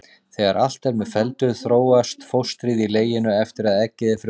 Þegar allt er með felldu þróast fóstrið í leginu eftir að eggið er frjóvgað.